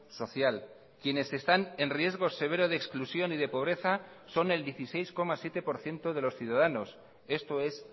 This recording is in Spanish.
social quienes están en riesgo severo de exclusión y de pobreza son el dieciséis coma siete por ciento de los ciudadanos esto es